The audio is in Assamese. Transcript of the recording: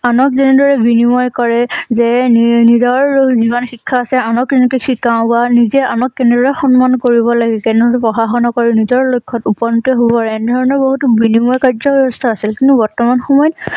আনক যেনেদৰে বিনিময় কৰে যে নিৰনিজৰো যিমান শিক্ষা আছে আনক এনেকে শিকাও বা নিজেই আমাক কেনে সন্মান কৰিব লগে কেনেনো পঢ়া শুনা কৰি নিজৰ লক্ষ্যত উপনীত হোৱাৰ এনেধৰণৰ বহুতো বিনিময় কাৰ্য্য ব্যবস্থা আছিল কিন্তু বৰ্তমান সময়ত